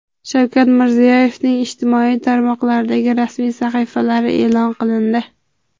Shavkat Mirziyoyevning ijtimoiy tarmoqlardagi rasmiy sahifalari e’lon qilindi.